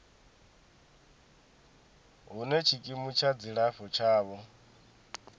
hune tshikimu tsha dzilafho tshavho